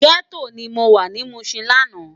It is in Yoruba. Gètó ni mó wá ni Mushin làná